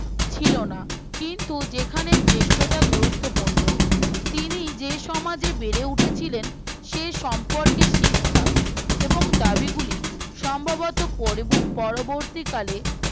ছিল না কিন্তু যেখানে জ্যেষ্ঠতা গুরুত্বপূর্ণ তিনি যে সমাজে বেড়ে উঠেছিলেন সে সম্পর্কে শিক্ষা এবং দাবিগুলি সম্ভবতঃ পরও পরবর্তীকালে